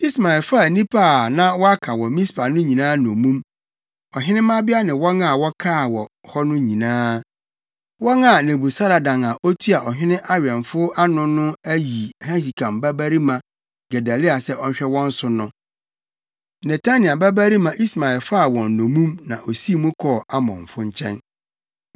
Ismael faa nnipa a na wɔaka wɔ Mispa no nyinaa nnommum; ɔhene mmabea ne wɔn a wɔkaa hɔ no nyinaa, wɔn a Nebusaradan a otua ɔhene awɛmfo ano no ayi Ahikam babarima Gedalia sɛ ɔnhwɛ wɔn so no. Netania babarima Ismael faa wɔn nnommum na osii mu kɔɔ Amonfo nkyɛn.